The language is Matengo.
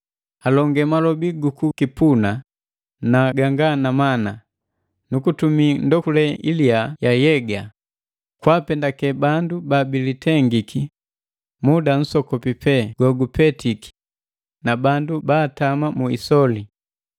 Alonge malobi gukukipuna na ganga na mana, nu kutumi ndokule iliya ya yega kwaapendake bandu baabilitengiki muda nsokopi pe gogupetiki na bandu baatama mu isoli.